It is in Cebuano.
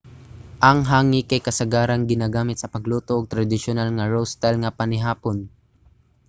ang hangi kay kasagaran ginagamit sa pagluto og tradisyonal nga roast style nga panihapon